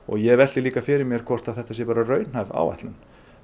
ég velti líka fyrir mér hvort þetta sé raunhæf áætlun